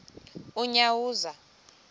unyawuza